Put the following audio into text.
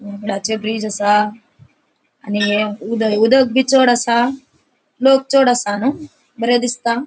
हे उडाचे ब्रिज आसा आणि उदक बी चड़ आसा लोक चड़ आसनु बरे दिसता.